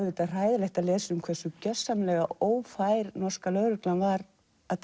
hræðilegt að lesa um hversu gjörsamlega ófær norska lögreglan var að